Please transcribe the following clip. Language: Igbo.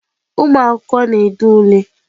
Ụmụ akwụkwọ na-ede ule.